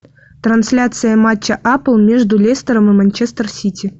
трансляция матча апл между лестером и манчестер сити